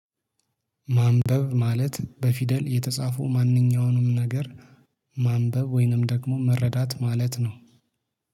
ማንበብ ማለት በፊደል የተጻፉ ማንኛውንም ነገር ማንበብ ወይንም ደግሞ መረዳት ማለት ነው።